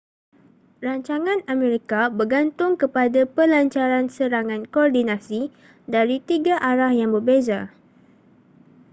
rancangan amerika bergantung kepada pelancaran serangan koordinasi dari tiga arah yang berbeza